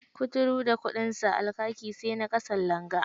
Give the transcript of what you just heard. Kuturu da kuɗinsa, al-kaki sai na ƙasan langa.